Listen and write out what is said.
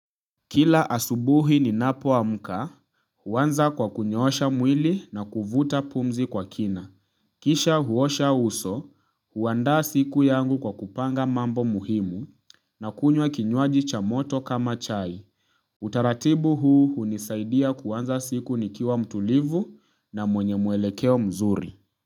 Kila asubuhi ninapo amka uanza kwa kunyoosha mwili na kuvuta pumzi kwa kina. Kisha uosha uso uandaa siku yangu kwa kupanga mambo muhimu na kunywa kinywaji cha moto kama chai. Utaratibu huu unisaidia kuanza siku nikiwa mtulivu na mwenye mwelekeo mzuri.